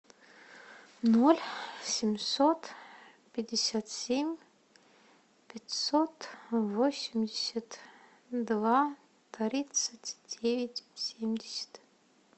ноль семьсот пятьдесят семь пятьсот восемьдесят два тридцать девять семьдесят